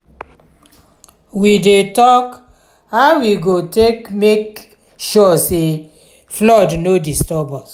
we dey tok how we go take make sure sey flood no disturb us.